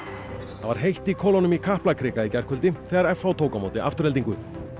það var heitt í kolunum í Kaplakrika í gærkvöldi þegar f h tók á móti Aftureldingu